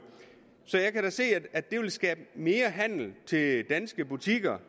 så jeg kan da se at det vil skabe mere handel til danske butikker